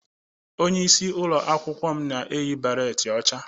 Onye isi na ụlọ akwụkwọ m na-eyi beret ọcha